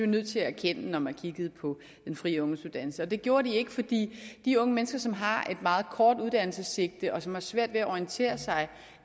nødt til at erkende når man kiggede på den fri ungdomsuddannelse det gjorde de ikke fordi de unge mennesker som har et meget kort uddannelsessigte og som har svært ved at orientere sig